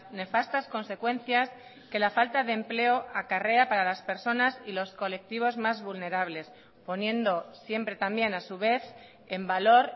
nefastas consecuencias que la falta de empleo acarrea para las personas y los colectivos más vulnerables poniendo siempre también a su vez en valor